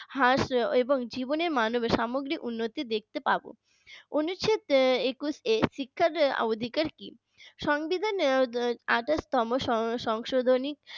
রাশ এবং জীবনে মানবে সামাজিক উন্নতি দেখতে পাবো উনিশ শ একুশ এর শিক্ষার অধিকার কি সংবিধানে আঠাশতম সংশোধনী